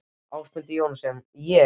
Ásmundur Jóhannsson: Ég?